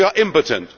We are impotent